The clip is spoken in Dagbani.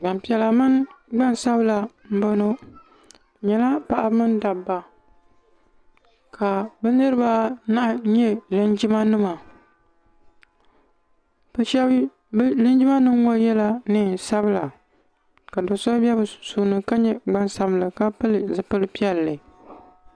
Linjima nim zaɣibobili. n laɣim n gbaa doso. doo maa pilila zipili piɛli.